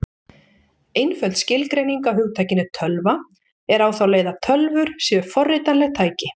Einföld skilgreining á hugtakinu tölva er á þá leið að tölvur séu forritanleg tæki.